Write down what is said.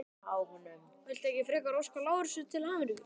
Viltu ekki frekar óska Lárusi til hamingju?